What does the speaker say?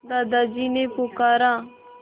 दादाजी ने पुकारा